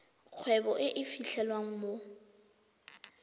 kgwebo e e fitlhelwang mo